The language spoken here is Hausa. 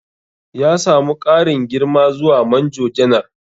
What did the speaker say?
Ya samu ƙarin girma zuwa Manjo Janar.